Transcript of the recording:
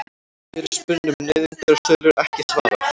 Fyrirspurn um nauðungarsölur ekki svarað